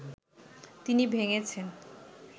তিনি ভেঙেছেন